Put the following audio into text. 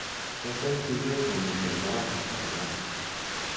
Tes eng tuget nemiten barak kaikai